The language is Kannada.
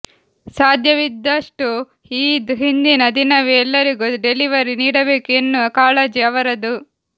ಸಾಧ್ಯವಿದ್ದಷ್ಟೂ ಈದ್ ಹಿಂದಿನ ದಿನವೇ ಎಲ್ಲರಿಗೂ ಡೆಲಿವರಿ ನೀಡಬೇಕು ಎನ್ನುವ ಕಾಳಜಿ ಅವರದ್ದು